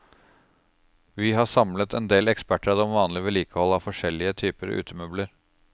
Vi har samlet endel ekspertråd om vanlig vedlikehold av forskjellige typer utemøbler.